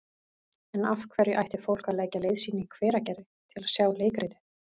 En af hverju ætti fólk að leggja leið sína í Hveragerði til að sjá leikritið?